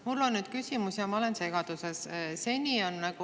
Mul on nüüd küsimus, sest ma olen segaduses.